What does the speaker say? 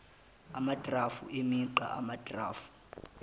amagrafu emigqa amagrafu